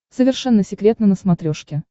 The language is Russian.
совершенно секретно на смотрешке